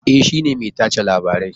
E, shi ne mai tace labarai